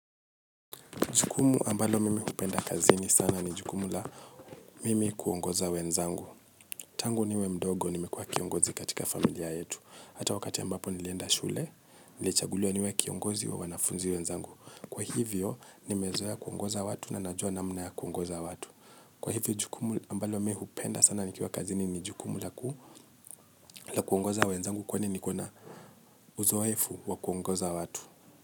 Jukumu ambalo mimi hupenda kazi ni sana ni jukumu la mimi kuongoza wenzangu. Tangu niwe mdogo nimekuwa kiongozi katika familia yetu. Hata wakati yambapo nilienda shule, nilichaguliwa niwe kiongozi wa wanafunzi wenzangu. Kwa hivyo, nimezoeya kuongoza watu na najua namna ya kuongoza watu. Kwa hivyo jukumu ambalo mimi hupenda sana ni kiwa kazi ni jukumu la ku la kuongoza wenzangu kwa nini kona uzo wefu wa kuongoza watu.